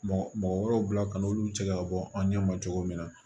Mɔgɔ mɔgɔ wɛrɛw bila ka na olu bi se ka bɔ an ɲɛ ma cogo min na